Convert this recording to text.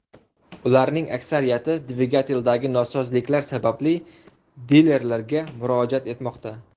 Ularning aksariyati dvigateldagi nosozliklar sababli dilerlarga murojaat etmoqda.